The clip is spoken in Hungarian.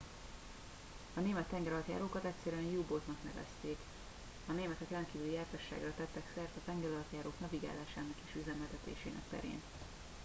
a német tengeralattjárókat egyszerűen u boat oknak nevezték a németek rendkívüli jártasságra tettek szert a tengeralattjárók navigálásának és üzemeltetésének terén